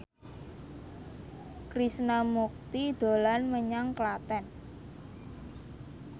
Krishna Mukti dolan menyang Klaten